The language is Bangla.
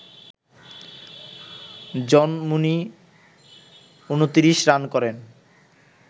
জন মুনি ২৯ রান করেন